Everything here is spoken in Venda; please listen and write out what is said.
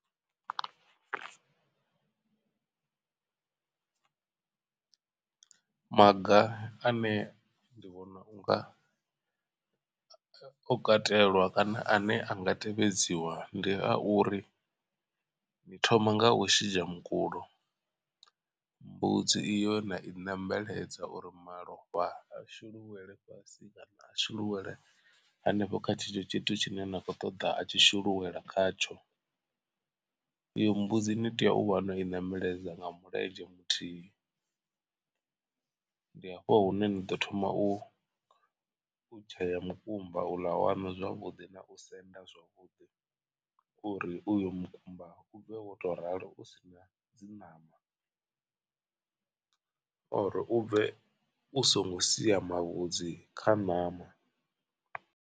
Maga ane ndi vhona u nga o katelwa kana a ne a nga tevhedziwa ndi a uri ni thoma nga u shidzha mukulo. Mbudzi iyo na i nembeledza uri malofha a shululele fhasi kana a shuluwele hanefho kha tshetsho tshithu tshine na khou ṱoḓa a tshi shuluwela khatsho. Iyo mbudzi ni tea u vha no i ṋembeledza nga mulenzhe muthihi ndi hafho hune ni ḓo thoma u tshea mukumba u ḽa waṋu zwavhuḓi na u senda zwavhuḓi uri uyo mukumba u bve wo tou ralo u si na dzi ṋama or u bve u songo sia mavhudzi kha ṋama.